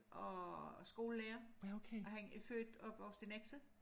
Og skolelærer og han er født opvokset i Nexø